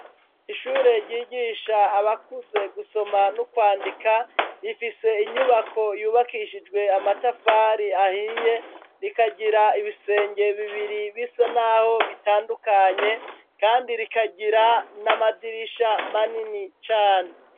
Ishure ryigisha abakuze gusoma no kwandika, rifise inyubako yubakishijwe amatafari ahiye, rikagira ibisenge bibiri bisa n'aho bitandukanye kandi rikagira n'amadirisha manini cane.